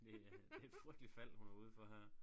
Det er det et frygteligt fald hun er ude for her